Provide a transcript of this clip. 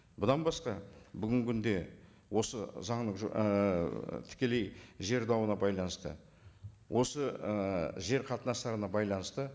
бұдан басқа бүгінгі күнде осы заңның ііі тікелей жер дауына байланысты осы і жер қатынастарына байланысты